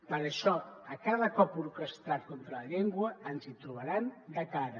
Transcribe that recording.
per això a cada cop orquestrat contra la llengua ens hi trobaran de cara